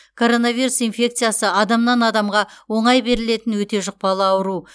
коронавирус инфекциясы адамнан адамға оңай берілетін өте жұқпалы ауру